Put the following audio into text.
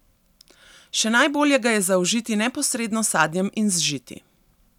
Še najbolje ga je zaužiti neposredno s sadjem in z žiti.